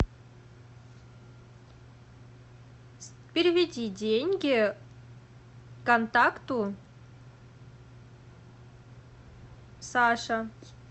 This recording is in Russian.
переведи деньги контакту саша